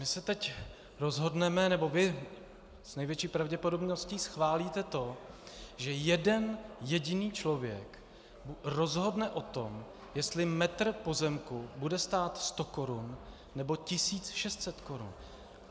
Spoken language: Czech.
My se teď rozhodneme - nebo vy s největší pravděpodobností schválíte to, že jeden jediný člověk rozhodne o tom, jestli metr pozemku bude stát 100 korun, nebo 1 600 korun.